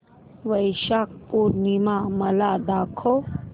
वैशाख पूर्णिमा मला दाखव